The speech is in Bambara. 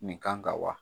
Nin kan ka wa